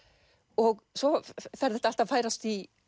og svo fer þetta allt að færast í